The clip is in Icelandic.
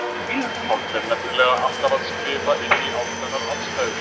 Páll er nefnilega alltaf að skrifa inn í ákveðnar aðstæður.